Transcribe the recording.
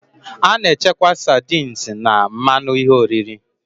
A na-echekwa sardines na mmanụ ihe oriri